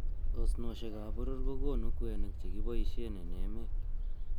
Osnosiek ab boror ko konu kwenik chekiboishen en emet.